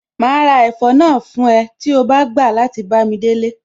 Màá ra ẹ̀fọ́ náà fún ẹ tí o bá gbà láti bámi délé